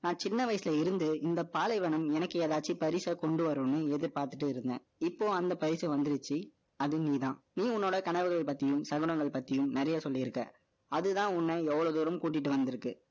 நான், சின்ன வயசுல இருந்து, இந்த பாலைவனம், எனக்கு, ஏதாச்சும், பரிசா, கொண்டு வரும்ன்னு, எதிர்பார்த்துட்டு இருந்தேன். இப்போ, அந்த பரிசை வந்துருச்சு. அது, நீதான். நீ, உன்னோட கனவுகளை பத்தியும், சகுனங்கள் பத்தியும், நிறைய சொல்லியிருக்க. அதுதான், உன்னை, இவ்வளவு தூரம், கூட்டிட்டு வந்திருக்கு